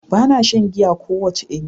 Bana shan giya kowace iri.